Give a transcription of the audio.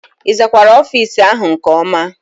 Ị zakwara ofiisi áhụ̀ nke ọma?